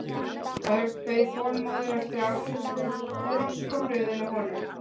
Örn beið þolinmóður eftir afgreiðslu og loks kom röðin að honum.